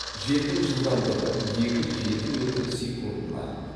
желдің жылдамдығы екі жеті метр секундына